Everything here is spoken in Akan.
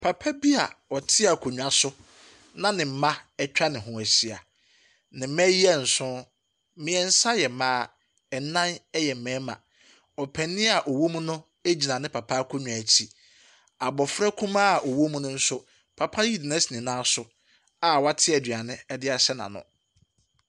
Papa bi a ɔte akonnwa so na ne mma atwa ne ho ahyia. Ne mma yi yɛ nson. Mmeɛnsa yɛ mmaa, nnan yɛ mmarima. Ɔpanin a ɔwɔ mu no gyina ne papa akonnwa akyi. Abɔfra kumaa a ɔwɔ mu no nso, papa yi de no asi ne nan so a wate aduane de ahyɛ n'ano.